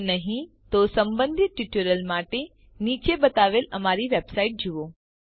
જો નહિં તો સંબંધિત ટ્યુટોરીયલ માટે નીચે બતાવેલ અમારી વેબસાઇટ જુઓ